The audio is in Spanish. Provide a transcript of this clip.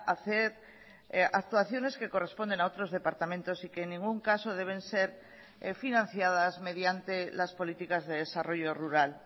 hacer actuaciones que corresponden a otros departamentos y que en ningún caso deben ser financiadas mediante las políticas de desarrollo rural